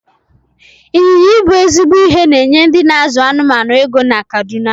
Ị́nyinya ibu ezigbo ihe na-enye ndị n'azụ anụmanụ ego na kaduna